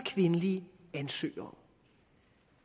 kvindelige ansøgere